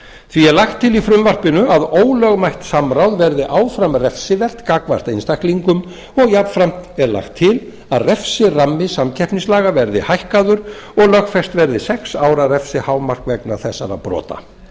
því er lagt til í frumvarpinu að ólögmætt samráð verði áfram refsivert gagnvart einstaklingum og jafnframt er lagt til að refsirammi samkeppnislaga verði hækkaður og lögfest verði sex ára refsihámark vegna þessara brota